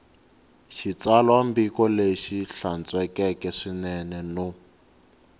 xitsalwambiko lexi hlantswekeke swinene no